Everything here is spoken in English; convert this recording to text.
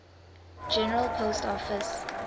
general post office